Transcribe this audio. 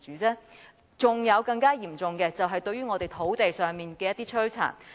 還有更嚴重的是，對於我們土地上的摧殘。